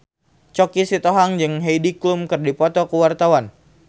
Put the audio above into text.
Choky Sitohang jeung Heidi Klum keur dipoto ku wartawan